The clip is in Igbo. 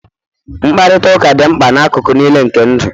mkparịta ụka dị mkpa n'akụkụ niile nke ndụ